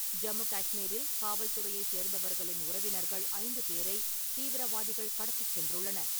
ஜம்மு கஷ்மீரில் காவல்துறையை சேர்ந்தவர்களின் உறவினர்கள் ஐந்து பேரை தீவிரவாதிகள் கடத்திச் சென்றுள்ளனர்.